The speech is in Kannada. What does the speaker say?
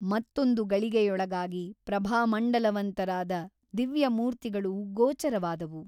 ಮತ್ತೊಂದು ಗಳಿಗೆಯೊಳಗಾಗಿ ಪ್ರಭಾಮಂಡಲವಂತರಾದ ದಿವ್ಯಮೂರ್ತಿಗಳು ಗೋಚರವಾದವು.